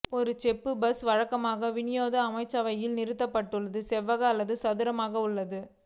ஒரு செப்புப் பஸ் வழக்கமாக விநியோக அமைச்சரவையில் நிறுவப்பட்டு செவ்வக அல்லது சதுரமாக உள்ளது